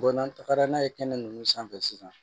n'an tagara n'a ye kɛnɛ nunnu sanfɛ sisan